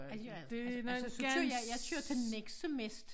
Ej det gør jeg heller ikke altså altså så kører jeg jeg kører til Nexø mest